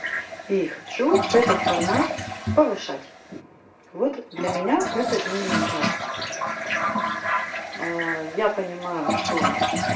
ии хочу этот формат повышать вот для меня это именно так я понимаю что